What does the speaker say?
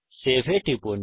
save এ টিপুন